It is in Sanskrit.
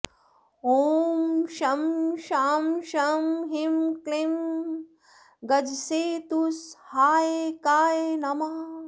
ॐ शं शां षं ह्रीं क्लीं गजसेतुसहायकाय नमः